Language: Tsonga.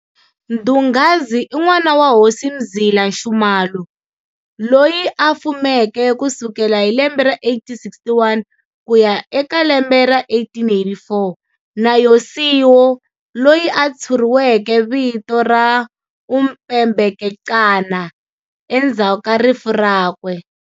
Mdungazi i n'wana wa Hosi Mzila Nxumalo, loyi a fumeke kusukela hi lembe ra 1861 kuya e ka lembe ra 1884, na Yosiwo, loyi a tshuriweke vito ra Umpebekecana endzhaku ka rifu rakwe.